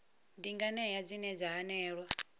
ndi nganea dzine dza hanelelwa